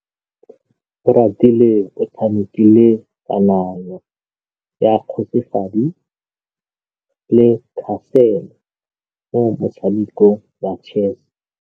Oratile o tshamekile kananyô ya kgosigadi le khasêlê mo motshamekong wa chess.